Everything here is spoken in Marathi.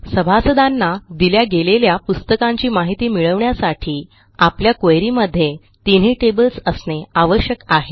सभासदांना दिल्या गेलेल्या पुस्तकांची माहिती मिळवण्यासाठी आपल्या क्वेरी मध्ये तिनही टेबल्स असणे आवश्यक आहे